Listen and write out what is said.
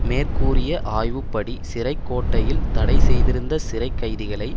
மேற்கூறிய ஆய்வுப்படி சிறை கோட்டையில் தடை செய்திருந்த சிறை கைதிகளை